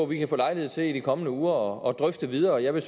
vi kan få lejlighed til i de kommende uger at drøfte videre jeg vil